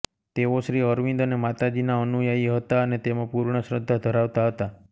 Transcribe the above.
તેઓ શ્રી અરવિંદ અને માતાજીના અનુયાયી હતા અને તેમાં પૂર્ણ શ્રદ્ધા ધરાવતા હતા